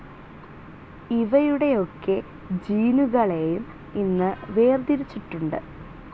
ഇവയുടെയൊക്കെ ജീനുകളെയും ഇന്നു വേർതിരിച്ചിട്ടുണ്ട്.